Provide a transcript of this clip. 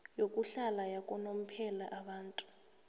yokuhlala yakanomphela abantu